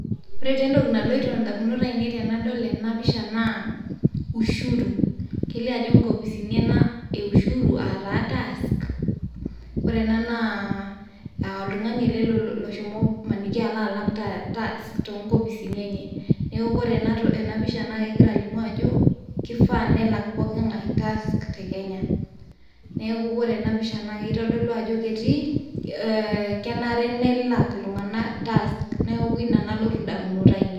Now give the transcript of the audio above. ore tee entoki naloito indamunot tenadol ena pisha naa ushuru . kelio ajo nkopisini ena e ushuru ataa tax. ore ena naa oltungani ele loshomo maniki alak tax too nkopisini enye . niaku ore ena pisha naa kegira alimu ajo , kifaa nelak pooki ngae tax te Kenya. niaku ore ena pisha naa kitodolu ajo ketii ee kenare nelak iltunganak tax niaku ina nalotu indamunot ainei.